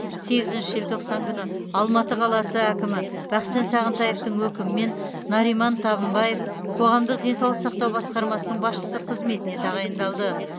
сегізінші желтоқсан күні алматы қаласы әкімі бақытжан сағынтаевтың өкімімен нариман табынбаев қоғамдық денсаулық сақтау басқармасының басшысы қызметіне тағайындалды